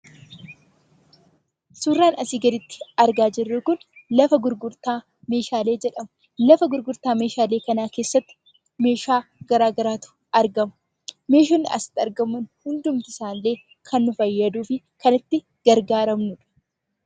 Suuraan asii gaditti argaa jirru kun lafa gurgurtaa meeshaalee jedhama. Lafa gurgurtaa meeshaalee kanaa keessatti meeshaa garaagaraatu argama. Meeshaan asitti argamu hundumti isaallee kan nu fayyaduu fi kan itti gargaaramnuudha.